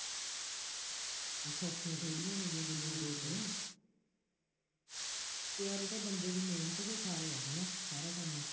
ਬਈ ਸੌਖੀਆਂ ਥੋੜ੍ਹੀਆਂ ਨੇ ਗੁੱਲੀਆਂ ਤੋੜਨੀਆਂ ਅਤੇ ਆਹ ਜੋ ਬੰਦੇ ਦੀ ਮਿਹਨਤ ਦੇ ਸਹਾਰੇ ਹੈ, ਹੈ ਨਾ, ਸਾਰਾ ਕੰਮ,